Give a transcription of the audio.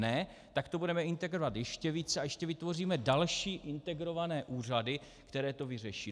Ne, tak to budeme integrovat ještě více a ještě vytvoříme další integrované úřady, které to vyřeší.